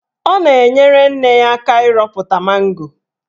Ọ na-enyere nne ya aka ịrọpụta mango.